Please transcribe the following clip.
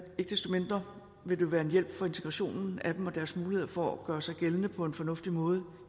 desto mindre vil det være en hjælp for integrationen af dem og deres muligheder for at gøre sig gældende på en fornuftig måde